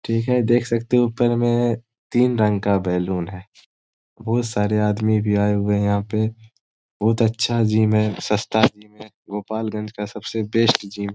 ठीक है देख सकते हो ऊपर में तीन रंग का बैलून है बहुत सारे आदमी भी आए हुए है यहाँ पे बहुत अच्छा जिम है सस्ता जिम है गोपालगंज का बेस्ट जिम है।